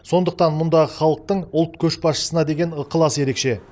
сондықтан мұндағы халықтың ұлт көшбасшысына деген ықыласы ерекше